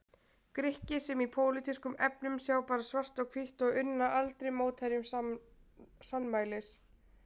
Grikki sem í pólitískum efnum sjá bara svart og hvítt og unna aldrei mótherjum sannmælis.